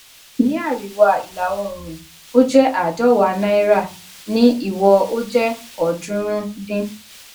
ní àríwá ìlà oòrùn ó jẹ àádọwàá náírà ní ìwọ ó jẹ ọọdúnrún dín